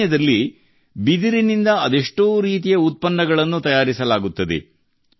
ಈಶಾನ್ಯದಲ್ಲಿ ಬಿದಿರಿನಿಂದ ಅದೆಷ್ಟೋ ರೀತಿಯ ಉತ್ಪನ್ನಗಳನ್ನು ತಯಾರಿಸಲಾಗುತ್ತದೆ